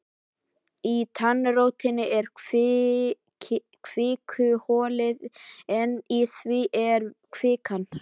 Í tannrótinni er kvikuholið en í því er kvikan.